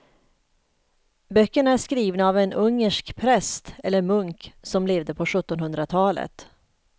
Böckerna är skrivna av en ungersk präst eller munk som levde på sjuttonhundratalet.